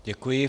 Děkuji.